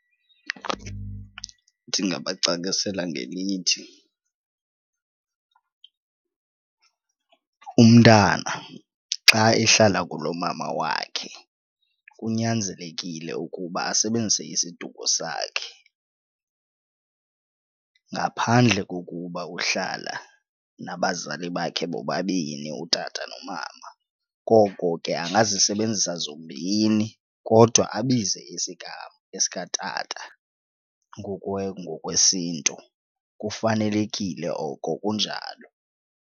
Ndingabacacisela ngelithi umntana xa ehlala kulomama wakhe kunyanzelekile ukuba asebenzise isiduko sakhe ngaphandle kokuba uhlala nabazali bakhe bobabini utata nomama koko ke angazisebenzisa zombini kodwa abize isigama esikatata ngokwesiNtu kufanelekile oko kunjalo.